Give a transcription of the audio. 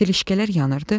Təlişkələr yanırdı.